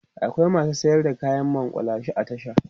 akwai masu sayar da kayan maƙulashe a tasha